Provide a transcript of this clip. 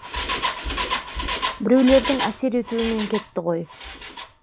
біреулердің әсер етуімен кетті ғой